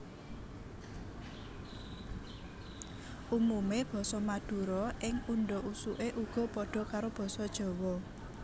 Umumé basa Madura ing undhak usuké uga padha karo Basa Jawa